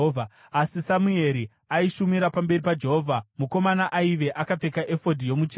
Asi Samueri aishumira pamberi paJehovha, mukomana aive akapfeka efodhi yomucheka.